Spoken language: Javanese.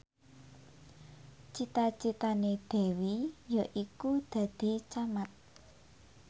cita citane Dewi yaiku dadi camat